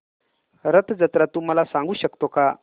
रथ जत्रा तू मला सांगू शकतो का